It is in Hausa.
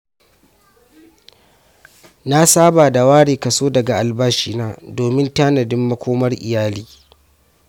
Na saba da ware kaso daga albashina domin tanadin makomar iyali.